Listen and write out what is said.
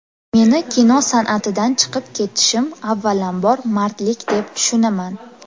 Meni kino san’atidan chiqib ketishim avvalambor mardlik deb tushunaman.